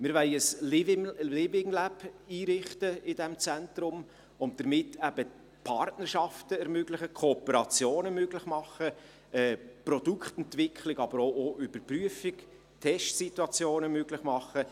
Wir wollen in diesem Zentrum ein Living Lab einrichten und damit Partnerschaften ermöglichen, Kooperationen möglich machen, Produktentwicklung, aber auch Überprüfungen, Testsituation möglich machen.